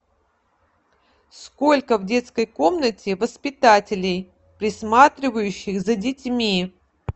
сколько в детской комнате воспитателей присматривающих за детьми